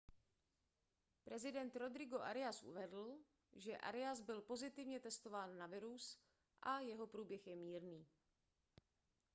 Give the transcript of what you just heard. prezident rodrigo arias uvedl že arias byl pozitivně testován na virus a jeho průběh je mírný